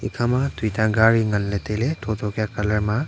ekhama tuta gari ngan ley tai ley tho tho kya colour ma.